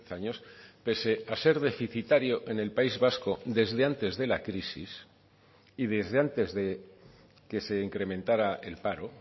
años pese a ser deficitario en el país vasco desde antes de la crisis y desde antes que se incrementará el paro